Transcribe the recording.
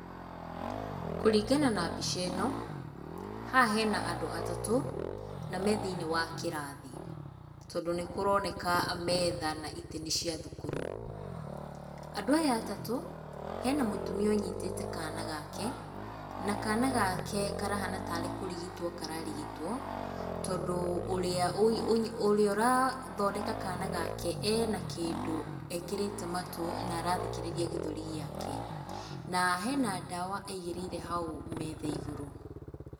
Kũringana na mbica ĩn,, haha hena andũ atatũ na me thĩiniĩ wa kĩrathi, tondũ nĩ kũroneka metha na itĩ nĩ cia thukuru. Andũ aya atatũ, hena mũtumia ũnyitĩte kaana gake na kaana gake karahana tarĩ kũrigitwo kararigitwo, tondũ ũrĩa, ũrĩa ũrathondeka kana gake, ena kĩndũ ekĩrĩte matũ na arathikĩrĩria gĩthũri gĩake. Na hena ndawa aigĩrĩire hau metha igũrũ.